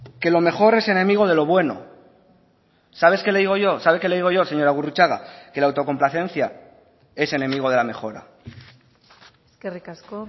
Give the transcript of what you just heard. que lo mejor es enemigo de lo bueno sabes qué le digo yo sabe qué le digo yo señora gurrutxaga que la autocomplacencia es enemigo de la mejora eskerrik asko